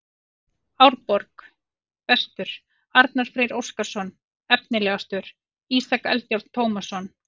Árborg: Bestur: Arnar Freyr Óskarsson Efnilegastur: Ísak Eldjárn Tómasson